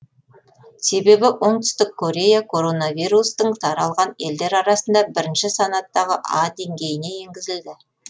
себебі оңтүстік корея коронавирустың таралған елдер арасында бірінші санаттағы а деңгейіне енгізілді